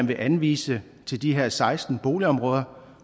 vil anvise til de her seksten boligområder